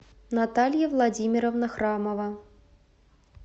наталья владимировна храмова